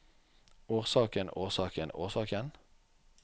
årsaken årsaken årsaken